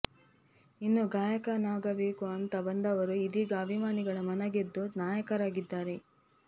ಇನ್ನು ಗಾಯಕನಾಗಬೇಕು ಅಂತಾ ಬಂದವರು ಇದೀಗ ಅಭಿಮಾನಿಗಳ ಮನ ಗೆದ್ದು ನಾಯಕನಾಗಿದ್ದಾರೆ